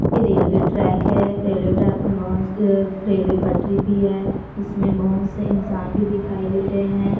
ये railway track है railway track मे बहुत -सी आ रेलवे पट्टरी भी है इसमें बहुत से इंसान भी दिखाई दे रहे हैं।